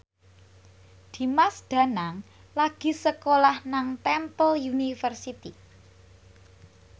Dimas Danang lagi sekolah nang Temple University